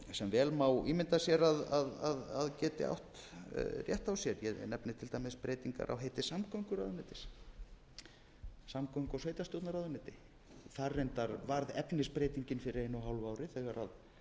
sem vel má ímynda sér að geti átt rétt á sér ég nefni til dæmis breytingar á heiti samgönguráðuneytis samgöngu og sveitarstjórnaráðuneyti birgir heldur áfram ræðu sinni og klárar sextán núll núll samgöngu og sveitarstjórnarráðuneyti þar reyndar varð efnisbreytingin fyrir einu